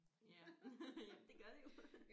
Ja jamen det gør det jo